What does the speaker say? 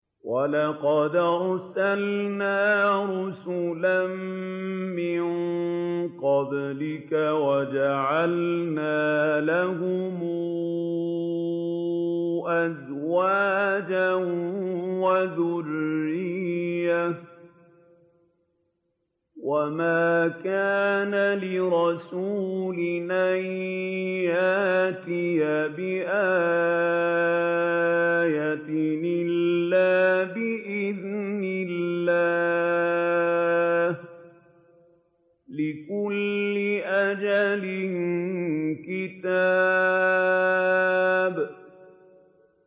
وَلَقَدْ أَرْسَلْنَا رُسُلًا مِّن قَبْلِكَ وَجَعَلْنَا لَهُمْ أَزْوَاجًا وَذُرِّيَّةً ۚ وَمَا كَانَ لِرَسُولٍ أَن يَأْتِيَ بِآيَةٍ إِلَّا بِإِذْنِ اللَّهِ ۗ لِكُلِّ أَجَلٍ كِتَابٌ